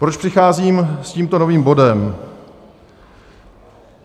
Proč přicházím s tímto novým bodem?